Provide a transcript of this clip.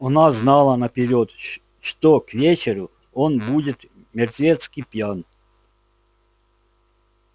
она знала наперёд что к вечеру он будет мертвецки пьян